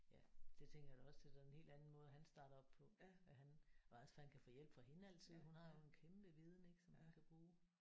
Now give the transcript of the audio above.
Ja det tænker jeg da også. Det er da en helt anden måde at han starter op på at han og også han kan få hjælp fra hende altid hun har jo en kæmpe viden ik som hun kan bruge